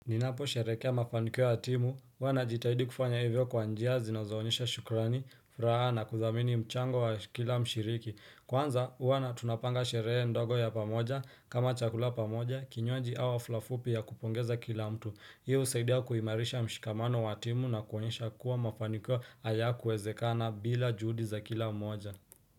Ninaposherehekea mafanikio ya timu huwa najitahidi kufanya hivyo kwa njia zinazoonyesha shukrani, furaha na kuthamini mchango wa kila mshiriki Kwanza huwa tunapanga sherehe ndogo ya pamoja kama chakula pamoja kinywaji au hafla fupi ya kupongeza kila mtu. Hio husaidia kuimarisha mshikamano wa timu na kuonyesha kuwa mafanikio hayakuwezekana bila juhudi za kila mmoja.